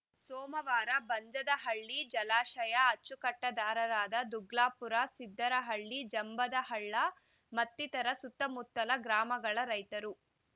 ಸೋಮವಾರ ಬಂಜದಹಳ್ಳಿ ಜಲಾಶಯ ಅಚ್ಚುಕಟ್ಟುದಾರರಾದ ದುಗ್ಲಾಪುರ ಸಿದ್ದರಹಳ್ಳಿ ಜಂಬದಹಳ್ಳ ಮತ್ತಿತರ ಸುತ್ತಮುತ್ತಲ ಗ್ರಾಮಗಳ ರೈತರು